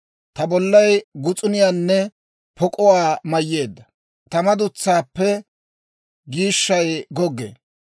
Ta bollay gus'uniyaanne pok'uwaa mayyeedda; ta madutsaappe giishshay goggee.